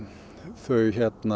þau